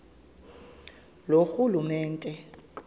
loorhulumente